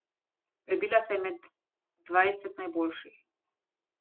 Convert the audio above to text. Prebila se je med dvajset najboljših.